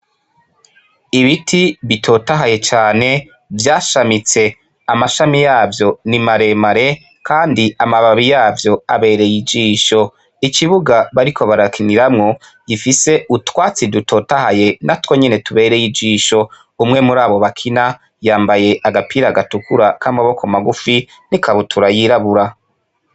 Ibiti bitotahaye cane vyashamitse amashami yavyo ni maremare, kandi amababi yavyo abereye ijisho ikibuga bari ko barakiniramwo gifise utwatsi dutotahaye na two nyene tubereye ijisho umwe muri abo bakina yambaye agapira gatukura kamaboko magufi nikabutura yirabura.